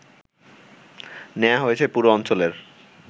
নেয়া হয়েছে পুরো অঞ্চলের